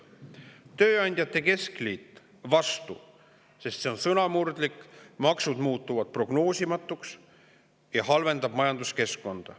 Tööandjate keskliit oli vastu, sest see on sõnamurdlik, maksud muutuvad prognoosimatuks ja see halvendab majanduskeskkonda.